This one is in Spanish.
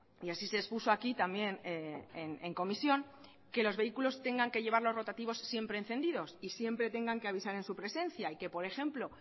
y así se expuso aquí también en comisión que los vehículos tengan que llevar los rotativos siempre encendidos y siempre tengan que avisar en su presencia y que por ejemplo